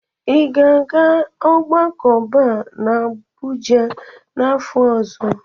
Ị ga-aga ogbako Bar na Abuja n'afọ ọzọ?